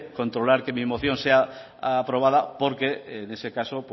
controlar que mi emoción sea aprobada porque en ese caso